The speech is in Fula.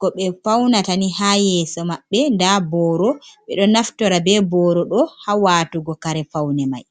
ko be faunatani ha yeso maɓɓe, nda boro be ɗo naftora be boro ɗo ha watugo kare faune mai.